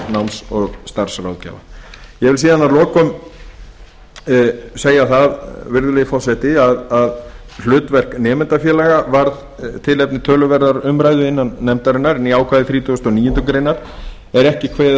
náms og starfsráðgjafa ég vil síðan að lokum segja það virðulegi forseti að hlutverk nemendafélaga varð tilefni töluverðrar umræðu innan nefndarinnar né ákvæði þrítugustu og níundu grein er ekki kveðið